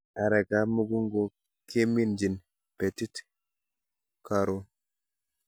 Arekab mukunkok keminjin betit koron